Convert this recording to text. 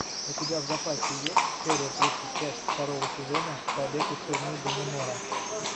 у тебя в запасе есть серия тридцать пять второго сезона побег из тюрьмы даннемора